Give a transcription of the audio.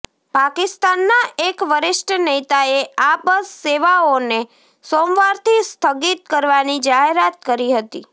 પાકિસ્તાનના એક વરિષ્ઠ નેતાએ આ બસ સેવાઓને સોમવારથી સ્થગિત કરવાની જાહેરાત કરી હતી